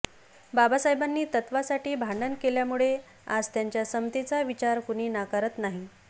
बाबासाहेबांनी तत्त्वासाठी भांडण केल्यामुळे आज त्यांच्या समतेचा विचार कुणी नाकारत नाही